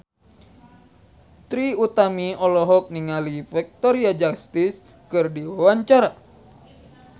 Trie Utami olohok ningali Victoria Justice keur diwawancara